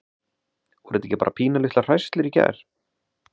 Voru þetta ekki bara pínulitlar hríslur í gær?